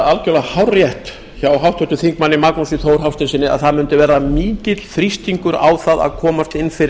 er algerlega hárrétt hjá háttvirtum þingmanni magnúsi þór hafsteinssyni að það mundi verða mikill þrýstingur á það að komast inn